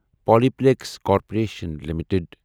Pali پلیکِس corporation limited